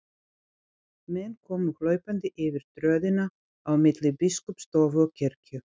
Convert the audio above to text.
Menn komu hlaupandi yfir tröðina á milli biskupsstofu og kirkju.